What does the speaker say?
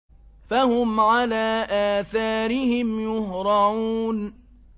فَهُمْ عَلَىٰ آثَارِهِمْ يُهْرَعُونَ